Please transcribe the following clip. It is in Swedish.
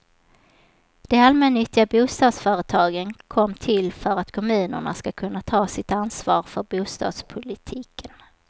De allmännyttiga bostadsföretagen kom till för att kommunerna skulle kunna ta sitt ansvar för bostadspolitiken.